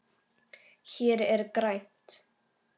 Hér er grænt.